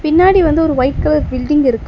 பின்னாடி வந்து ஒரு ஒயிட் கலர் பில்டிங் இருக்கு.